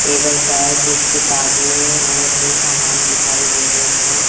Table पर कुछ किताबें और भी सामान दिखाई दे रहे हैं।